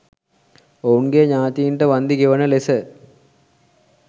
ඔවුන්ගේ ඥාතීන්ට වන්දි ගෙවන ලෙස